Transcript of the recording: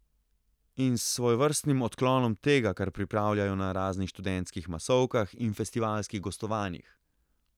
In s svojevrstnim odklonom tega, kar pripravljajo na raznih študentskih masovkah in festivalskih gostovanjih.